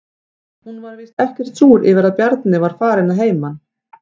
Hún var víst ekkert súr yfir að Bjarni var farinn að heiman.